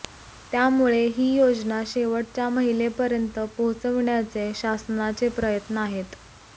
त्यामुळे ही योजना शेवटच्या महिलेपर्यंत पोहोचविण्याचे शासनाचे प्रयत्न आहेत